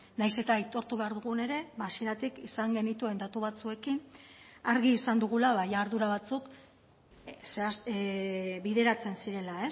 nahiz eta aitortu behar dugun ere hasieratik izan genituen datu batzuekin argi izan dugula ardura batzuk bideratzen zirela